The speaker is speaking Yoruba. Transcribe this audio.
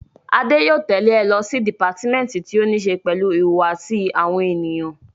Adé yóò tẹ̀le ẹ lọ sí dìpátímẹ́ǹtì tí ó ní ṣe pẹ̀lú ìhùwàsí àwọn ènìyàn